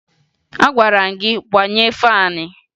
Agwara m gị gbaghee faanị!